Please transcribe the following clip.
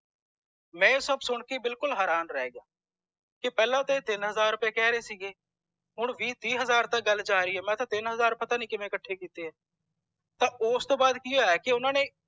ਮੈਂ ਇਹ ਸਬ ਸੁਨ ਕੇ ਹੈਰਾਨ ਰਹਿ ਗਿਆ ਪਹਿਲਾ ਤੇ ਇਹ ਤਿੰਨ ਹਜ਼ਾਰ ਰੁਪਏ ਕਹਿ ਰੇ ਸੀਗੇ ਹੁਣ ਵੀਹ ਤੀਹ ਹਜ਼ਾਰ ਤਕ ਗੁਲ ਜਾਰੀ ਆ ਮੈ ਕਿਹਾ ਤਿੰਨ ਹਜ਼ਾਰ ਪਤਾ ਨੀ ਕਿਵੇਂ ਕੱਠੇ ਕੀਤੇ ਆ ਤਾਂ ਓਸ ਤੌਂ ਵਾਦ ਕਿ ਹੋਇਆ ਕਿ ਓਹਨਾ ਨੇ